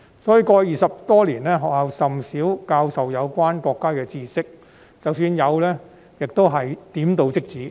因此，過去20多年，學校甚少教授有關國家的知識，即使有，亦只是點到即止。